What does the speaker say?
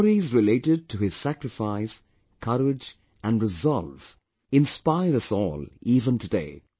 The stories related to his sacrifice, courage and resolve inspire us all even today